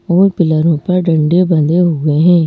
और पिलरों पर डंडे बंधे हुए हैं।